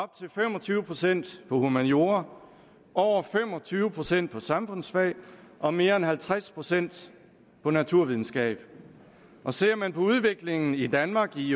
tyve procent på humaniora over fem og tyve procent på samfundsfag og mere end halvtreds procent på naturvidenskab ser man på udviklingen i danmark i